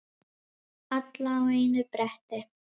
Alla á einu bretti.